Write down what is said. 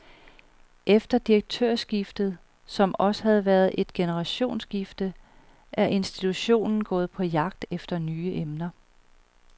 Efter direktørskiftet, som også har været et generationsskifte, er institutionen gået på jagt efter nye emner.